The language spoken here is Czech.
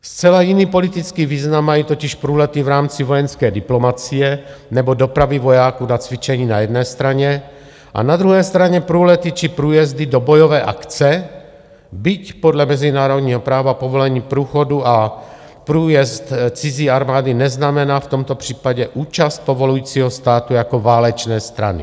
Zcela jiný politický význam mají totiž průlety v rámci vojenské diplomacie nebo dopravy vojáků na cvičení na jedné straně a na druhé straně průlety či průjezdy do bojové akce, byť podle mezinárodního práva povolení průchodu a průjezd cizí armády neznamená v tomto případě účast povolujícího státu jako válečné strany.